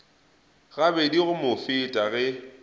gabedi go mo feta ge